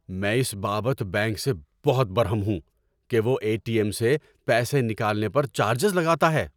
میں اس بابت بینک سے بہت برہم ہوں کہ وہ اے ٹی ایم سے پیسے نکالنے پر چارجز لگاتا ہے۔